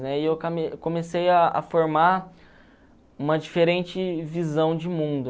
comecei a a formar uma diferente visão de mundo.